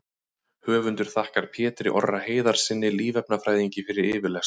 Höfundur þakkar Pétri Orra Heiðarssyni lífefnafræðingi fyrir yfirlestur.